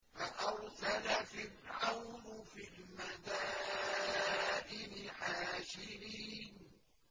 فَأَرْسَلَ فِرْعَوْنُ فِي الْمَدَائِنِ حَاشِرِينَ